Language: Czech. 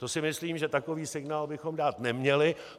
To si myslím, že takový signál bychom dát neměli.